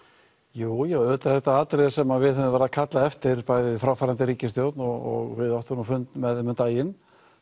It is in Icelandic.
jú auðvitað er þetta atriði sem við höfum verið að kalla eftir bæði fráfarandi ríkisstjórn og við áttum nú fund með þeim um daginn